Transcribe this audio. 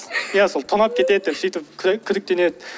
ия сол тонап кетеді деп сөйтіп күдіктенеді